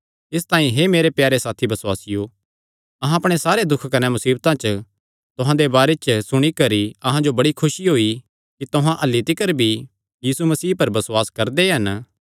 इसतांई हे मेरे प्यारे साथी बसुआसियो अहां अपणे सारे दुख कने मुसीबता च तुहां दे बारे च सुणी करी अहां जो बड़ी खुसी होई कि तुहां अह्ल्ली तिकर भी यीशु मसीह पर बसुआस करदे हन